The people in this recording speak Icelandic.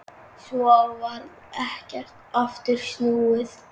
Svo varð ekkert aftur snúið.